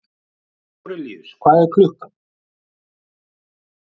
Árelíus, hvað er klukkan?